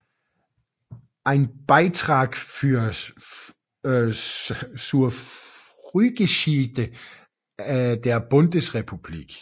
Ein Beitrag zur Frühgeschichte der Bundesrepublik